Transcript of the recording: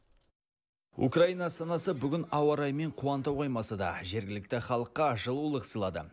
украина астанасы бүгін ауа райымен қуанта қоймаса да жергілікті халыққа жылулық сыйлады